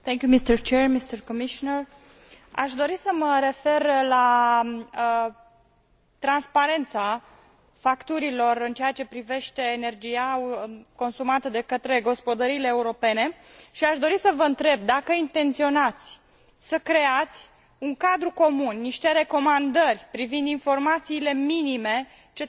Aș dori să mă refer la transparența facturilor în ceea ce privește energia consumată de către gospodăriile europene și aș dori să vă întreb dacă intenționați să creați un cadru comun, niște recomandări privind informațiile minime ce trebuie să fie conținute în factura